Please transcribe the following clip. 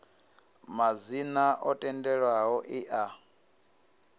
madzina o tendelwaho e a